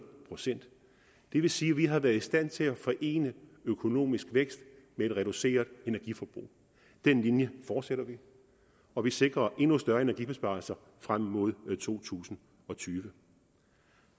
procent det vil sige at vi har været i stand til at forene økonomisk vækst med et reduceret energiforbrug den linje fortsætter vi og vi sikrer endnu større energibesparelser frem mod to tusind og tyve